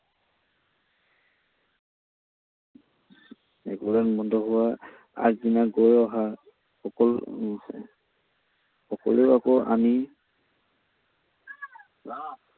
আগদিনা গৈ অহা সকলো সকলো আকৌ আমি